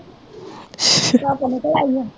ਧੁੱਪ ਨਿਕਲ ਆਈ ਏ